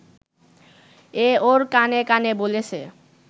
এ ওর কানে কানে বলেছে